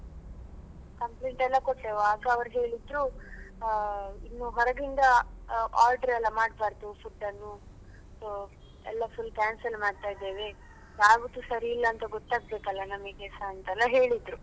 Complaint ಎಲ್ಲ ಕೊಟ್ಟೆವು ಆಗ ಅವ್ರು ಹೇಳಿದ್ರು ಆ ಇನ್ನು ಹೊರಗಿಂದ order ಎಲ್ಲ ಮಾಡ್ಬಾರ್ದು food ಅನ್ನು ಎಲ್ಲ full cancel ಮಾಡ್ತಾಯಿದ್ದೇವೆ ಯಾವ್ದು ಸರಿಯಿಲ್ಲ ಅಂತ ಗೊತ್ತಾಗ್ಬೇಕಲ್ಲ ನಮಿಗೆಸ ಅಂತೆಲ್ಲ ಹೇಳಿದ್ರು.